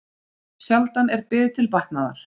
Sjaldan er bið til batnaðar.